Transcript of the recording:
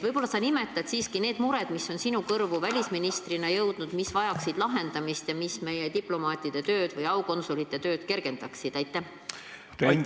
Võib-olla sa nimetad need mured, mis on sinu kui välisministri kõrvu jõudnud, mis vajaksid lahendamist, et meie diplomaatide tööd kergendada?